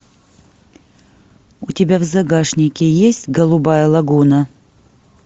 у тебя в загашнике есть голубая лагуна